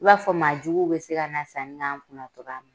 I b'a fɔ maa juguw be se ka na sanni na an kunna togoya min na